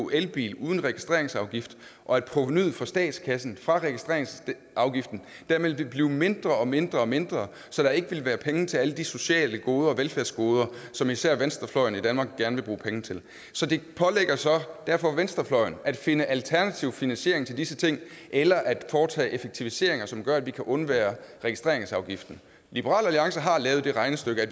elbil uden registreringsafgift og at provenuet for statskassen fra registreringsafgiften ville blive mindre mindre og mindre så der ikke ville være penge til alle de sociale goder og velfærdsgoder som især venstrefløjen i danmark gerne vil bruge penge til så det pålægger derfor venstrefløjen at finde alternativ finansiering til disse ting eller at foretage effektiviseringer som gør at vi kan undvære registreringsafgiften liberal alliance har lavet det regnestykke